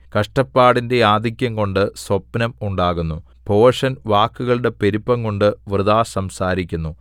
കഷ്ടപ്പാടിന്റെ ആധിക്യംകൊണ്ട് സ്വപ്നം ഉണ്ടാകുന്നു ഭോഷൻ വാക്കുകളുടെ പെരുപ്പംകൊണ്ട് വൃഥാ സംസാരിക്കുന്നു